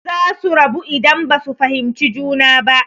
Zasu rabu idan basu fahimci juna ba.